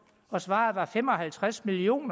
og svaret var fem og halvtreds million